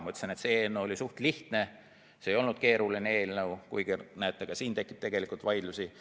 Ma ütlesin, et see eelnõu oli suht lihtne, see ei olnud keeruline eelnõu, aga näete, ka siin tekib tegelikult vaidlusi.